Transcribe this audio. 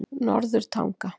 Norðurtanga